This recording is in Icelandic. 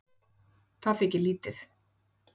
Það þykir lítið